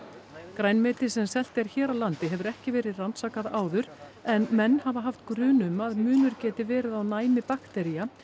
grænmeti sem selt er hér á landi hefur ekki verið rannsakað áður en menn hafa haft grun um að munur geti verið á næmi baktería